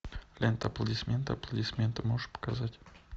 лента аплодисменты аплодисменты можешь показать